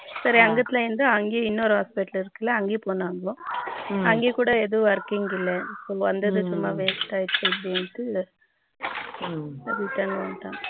சரி அங்கதுல இருந்து அங்கேயே இன்னோரு hospital இருக்கு இல்லை அங்கேயே பொண்ணிங்கோ அங்கே கூட எதும் working இல்லைனு வந்தது சும்மா waste ஆய்டுசுன்னு return வந்துடங்க